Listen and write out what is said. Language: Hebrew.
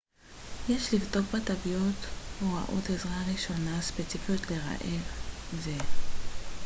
יש לבדוק בתווית הוראות עזרה ראשונה ספציפיות לרעל זה